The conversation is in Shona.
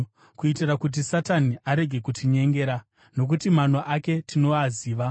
kuitira kuti Satani arege kutinyengera. Nokuti mano ake tinoaziva.